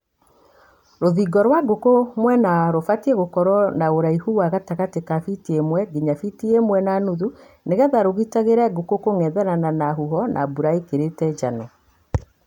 Rũthingo rwa gũkũ mwena rũbatiĩ gũkorwo na ũraihu wa gatagatĩ ka biti ĩmwe nginya biti ĩmwe na nuthu nĩgetha rũgitagĩre ngũkũ kũng'ethanĩra na huho na mbura ikĩrĩtie njano.